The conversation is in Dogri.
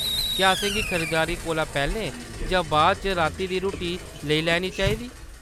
क्या असेंगी खरीदारी कोला पैह्‌‌‌लें जां बाद इच राती दी रुट्टी लेई लैनी चाहिदी ?